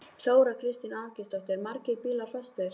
Þóra Kristín Ásgeirsdóttir: Margir bílar fastir?